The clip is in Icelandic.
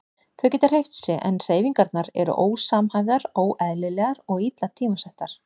Þau geta hreyft sig en hreyfingarnar eru ósamhæfðar, óeðlilegar og illa tímasettar.